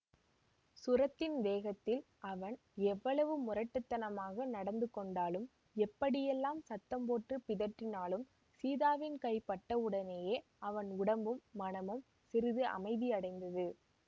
சுரத்தின் வேகத்தில் அவன் எவ்வளவு முரட்டு தனமாக நடந்து கொண்டாலும் எப்படியெல்லாம் சத்தம் போட்டு பிதற்றினாலும் சீதாவின் கை பட்டவுடனேயே அவன் உடம்பும் மனமும் சிறிது அமைதி அடைந்தது